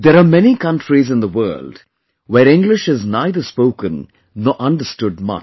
There are many such countries in the world where English is neither spoken nor understood much